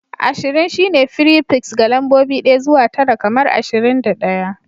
Ashirin shine fripiks ga lambobi ɗaya zuwa tara kamar ashirin da ɗaya